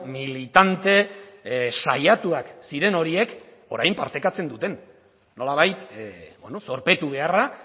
militante saiatuak ziren horiek orain partekatzen duten nolabait zorpetu beharra